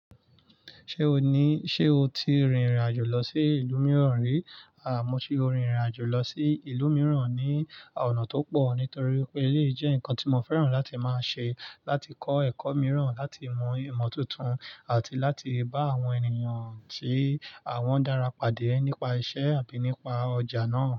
Ṣé o ní, ṣe o ti rìrìn àjò lọ sí ìlú mìíràn rí? À, mo ti rìrìn àjò lọ sí ìlú mìíràn ní ọ̀nà tó pọ̀ nítorí pé èyí jẹ́ ǹkan tí mo fẹ́ràn láti máa ṣe, láti kọ́ ẹ̀kọ́ mìíràn, láti mọ ìmọ̀ tuntun àti láti bá àwọn ènìyàn tí àwọn dára pàdé nípa iṣẹ́ àbí nípa ọjà náà.